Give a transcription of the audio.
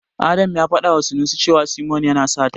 Adam ya faɗawa Sanusi cewa Simon yana sata.